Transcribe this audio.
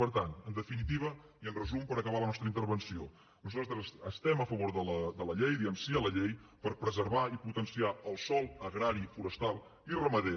per tant en definitiva i en resum per acabar la nostra intervenció nosaltres estem a favor de la llei diem sí a la llei per preservar i potenciar el sòl agrari forestal i ramader